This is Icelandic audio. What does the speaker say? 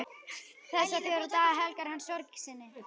Þessa fjóra daga helgar hann sorg sinni.